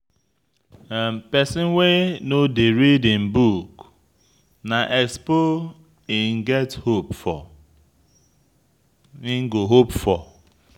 Pesin wey no dey read im book na expo im go hope for.